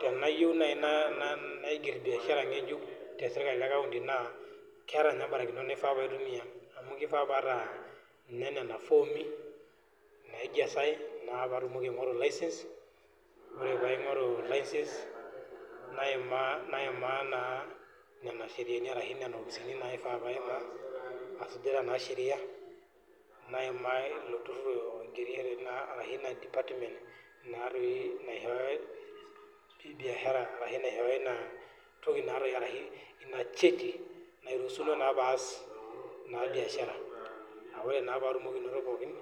Tenayieu naji naiger biashara ngejuk tesirkali ecounty naa keeta mbarakinot naifaa paitumia amu kifaa paata nena fomi naijazae , mpaka paingoru licence naimaa naa nena ofisini naifaa paimaa ashu sheria naimaa department niashoyo inacheti niruhusino naa paas biashara naa ore patum pookin